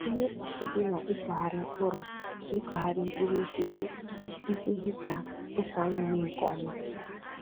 Ihe mkpagbu dị na ịkụghari mkpụrụ na ịkụghari mkpụrụ osisi e kweghi ka ose anyị mee nkè ọma